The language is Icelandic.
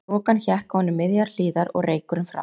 Þokan hékk ofan í miðjar hlíðar og reykurinn frá